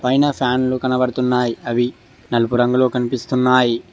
పైన ఫ్యాన్లు కనబడుతున్నాయి అవి నలుపు రంగులో కనిపిస్తున్నాయి.